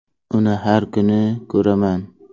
Uni har kuni ko‘raman.